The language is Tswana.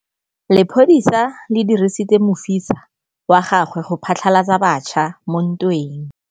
Lepodisa le dirisitse mosifa wa gagwe go phatlalatsa batšha mo ntweng.